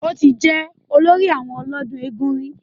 Ó ti jẹ́ olórí àwọn ọlọ́dún eégún rí